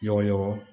Ɲɔgɔnɲɔgɔn